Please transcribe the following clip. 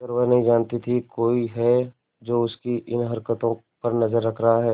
मगर वह नहीं जानती थी कोई है जो उसकी इन हरकतों पर नजर रख रहा है